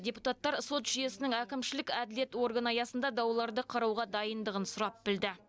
депутаттар сот жүйесінің әкімшілік әділет органы аясында дауларды қарауға дайындығын сұрап білді